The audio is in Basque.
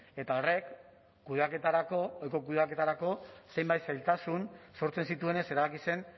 eta horrek kudeaketarako ohiko kudeaketarako zenbait zailtasun sortzen zituenez erabaki zen